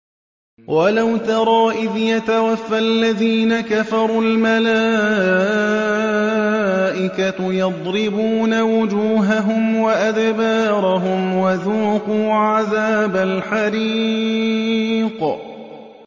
وَلَوْ تَرَىٰ إِذْ يَتَوَفَّى الَّذِينَ كَفَرُوا ۙ الْمَلَائِكَةُ يَضْرِبُونَ وُجُوهَهُمْ وَأَدْبَارَهُمْ وَذُوقُوا عَذَابَ الْحَرِيقِ